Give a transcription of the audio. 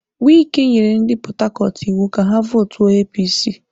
Wike nyere ndị Port Harcourt iwu ka ha vootuo APC.